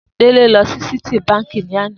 Dele lò si Citi bànkí lànã